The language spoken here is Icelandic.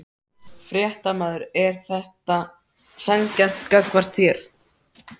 Fréttamaður: Er þetta sanngjarnt gagnvart þér?